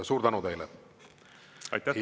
Suur tänu teile!